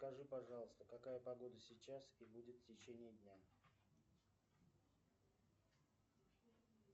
скажи пожалуйста какая погода сейчас и будет в течение дня